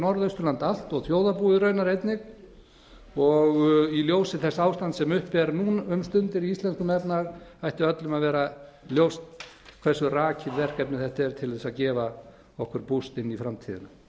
norðausturland allt og þjóðarbúið raunar einnig í ljósi þess ástands sem uppi er nú um stundir í íslenskum efnahag ætti öllum að vera ljóst hversu rakið verkefni þetta er til þess að gefa okkur bent inn í framtíðina ég